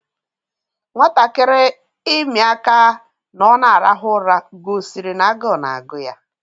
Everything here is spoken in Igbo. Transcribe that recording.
Nwatakịrị imi aka ná ọ n'arahu ụra gosiri n'agu na-agụ ya